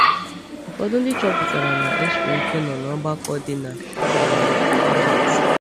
Ụfọdụ ndị chọpụtara na ọ siri ike nọ n’ọgbakọ dị na um Korint.